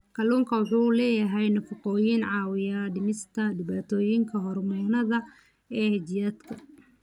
Kalluunku waxa uu leeyahay nafaqooyin caawiya dhimista dhibaatooyinka hormoonnada ee jidhka.